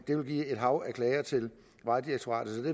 det ville give et hav af klager til vejdirektoratet